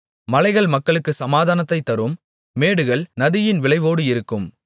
மலைகள் மக்களுக்குச் சமாதானத்தைத் தரும் மேடுகள் நீதியின் விளைவோடு இருக்கும்